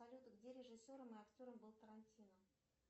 салют где режиссером и актером был тарантино